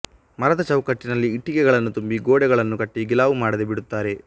ಮರದ ಚೌಕಟ್ಟಿನಲ್ಲಿ ಇಟ್ಟಿಗೆಗಳನ್ನು ತುಂಬಿ ಗೋಡೆಗಳನ್ನು ಕಟ್ಟಿ ಗಿಲಾವು ಮಾಡದೆ ಬಿಡುತ್ತಾರೆ